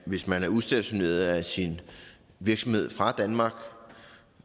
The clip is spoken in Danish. hvis man er udstationeret af sin virksomhed fra danmark